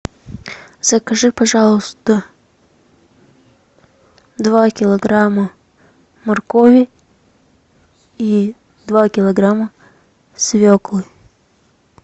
закажи пожалуйста два килограмма моркови и два килограмма свеклы